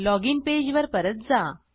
login पेजवर परत जा